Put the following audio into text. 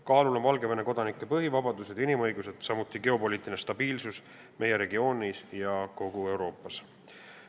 Kaalul on Valgevene kodanike põhivabadused ja inimõigused, samuti geopoliitiline stabiilsus meie regioonis ja kogu Euroopas.